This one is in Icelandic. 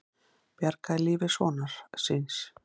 Bjargaði lífi sonar síns